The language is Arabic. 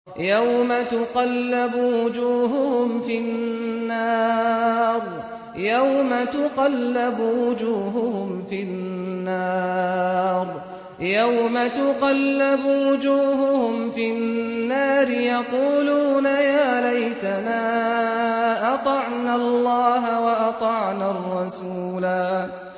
يَوْمَ تُقَلَّبُ وُجُوهُهُمْ فِي النَّارِ يَقُولُونَ يَا لَيْتَنَا أَطَعْنَا اللَّهَ وَأَطَعْنَا الرَّسُولَا